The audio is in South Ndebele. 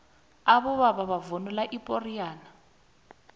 abobaba bavunula ipoxiyane